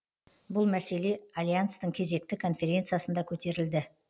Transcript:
бұл мәселе альянстың кезекті конференциясында көтерілді